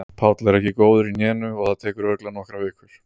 Páll er ekki góður í hnénu og það tekur örugglega nokkrar vikur.